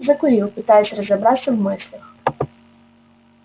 закурил пытаясь разобраться в мыслях